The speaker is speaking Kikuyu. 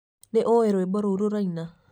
nĩ ũĩ rwĩmbo rũrĩa rũraina